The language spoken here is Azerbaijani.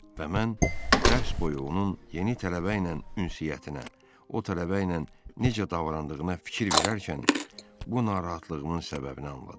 Və mən dərs boyu onun yeni tələbə ilə ünsiyyətinə, o tələbə ilə necə davrandığına fikir verərkən, bu narahatlığımın səbəbini anladım.